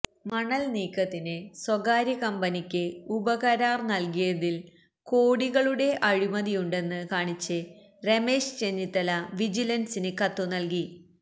മണല്നീക്കത്തിന് സ്വകാര്യ കമ്പനിക്ക് ഉപകരാര് നല്കിയതില് കോടികളുടെ അഴിമതിയുണ്ടെന്ന് കാണിച്ച് രമേശ് ചെന്നിത്തല വിജിലന്സിന് കത്തുനല്കി